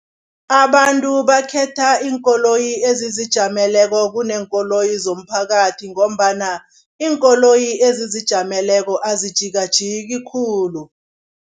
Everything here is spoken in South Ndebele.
Abantu bakhetha iinkoloyi ezizijameleko kuneenkoloyi zomphakathi ngombana iinkoloyi ezizijameleko azijikajiki khulu.